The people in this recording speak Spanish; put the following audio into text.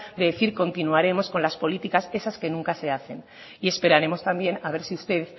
de decir continuaremos con las políticas esas que nunca se hacen y esperaremos también a ver si usted